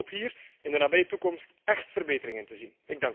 Ik hoop hier in de nabije toekomst echt verbeteringen te zien.